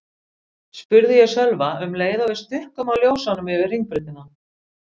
spurði ég Sölva um leið og við stukkum á ljósunum yfir Hringbrautina.